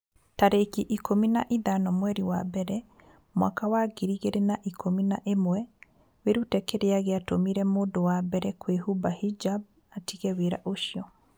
tarĩki ikũmi na ithano mweri wa mbere mwaka wa ngiri igĩrĩ na ikũmi na ĩmweWĩrute kĩrĩa gĩatũmire mũndũ wa mbere kũhumba hijab 'atige wĩra ũcio.